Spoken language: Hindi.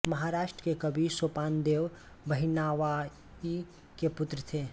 महाराष्ट्र के कवि सोपानदेव बहिनाबाई के पुत्र थे